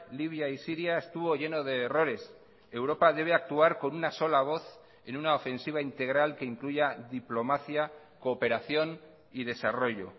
libia y siria estuvo lleno de errores europa debe actuar con una sola voz en una ofensiva integral que incluya diplomacia cooperación y desarrollo